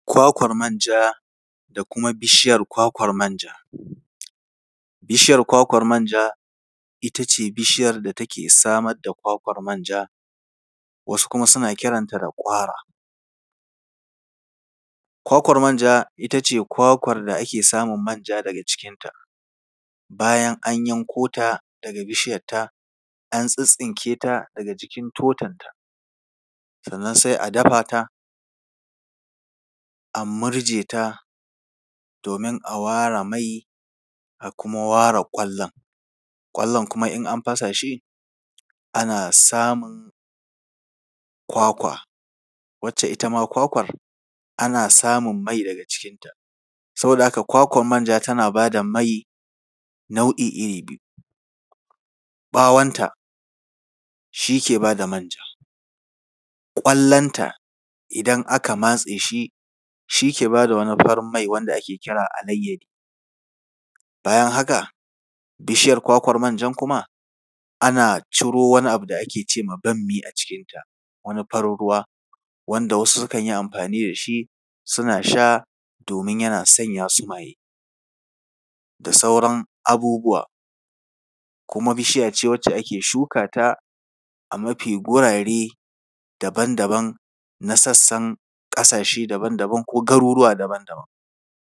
Kwakwar manja da kuma bishiyar kwakwar manja. Bishiyar kwakwar manja, ita ce bishiyar da take samar da kwakwar manja, wasu kuma suna kiranta da ‘ƙwara’. Kwakwar manja, ita ce kwakwar da ake samun manja daga cikinta. Bayan an yanko ta daga bishiyarta, an tsittsinke ta daga jikin totonta, sannan sai a dafa ta, a murje ta, domin a ware mai, a kuma ware ƙwallon. Ƙwallon kuma in an fasa shi, ana samun kwakwa, wacce ita ma kwakwar, ana samun mai daga cikinta. Saboda haka kwakwar manja tana ba da mai nau’i iri biyu: ɓawonta shi ke ba da manja, ƙwallonta idan aka matse shi, shi ke ba da wani farin mai wanda ake kira alayyadi. Bayan haka, bishiyar kwakwar manjan kuma, ana ciro wani abu da ake ce ma ‘bammi’ a cikinta, wani farin ruwa, wanda wasu sukan yi amfani da shi, suna sha, domin yana sanya su maye da sauran abubuwa. Kuma bishiya ce wacce ake shuka ta a mafi gurare daban daban na sassan ƙasashe daban daban ko garuruwa daban daban.